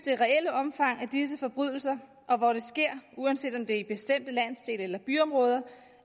omfang af disse forbrydelser og hvor de sker uanset om det er i bestemte landsdele eller byområder